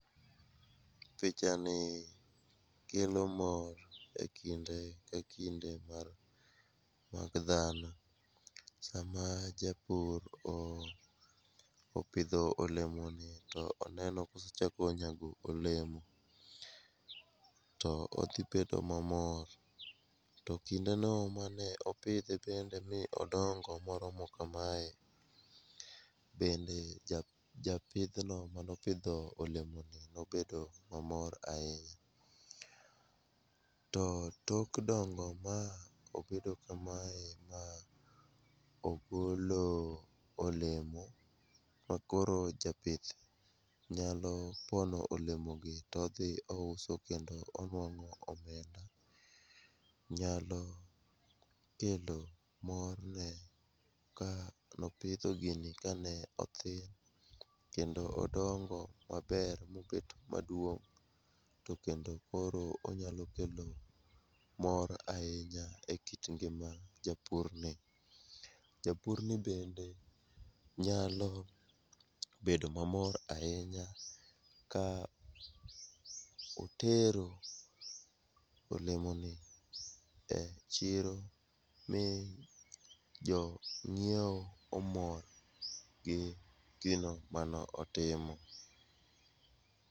Pichani kelo mor e kinde ka kinde mag dhano, sama japur opidho olemoni to oneno kosechako nyago olemo, to odhi bedo mamor, to kindeno mane opidhe bende mi odongo moromo kame, bende japidhno manopidho olemono nobedo mamor ahinya, to tok dongo ma obedo kamae, ma ogolo olemo ma koro japith nyalo pono olemogi to odhi ouso kendo onwang;o omenda, nyalo kelo mor ne kanopidho gini kane othin, kendo odongo maber mobet maduong' to kendo koro onyalo kelo mor ahinya e kit ngima japurni. Japurni bende nyalo bedo mamor ahinya ka otero olemoni e chiro mi jong'iewo omor gi gino mano otimo.